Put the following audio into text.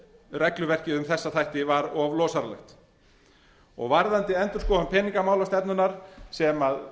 regluverkið um þessa þætti var of losaralegt og varðandi endurskoðun peningamálastefnunnar sem